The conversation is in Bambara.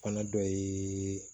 Fana dɔ ye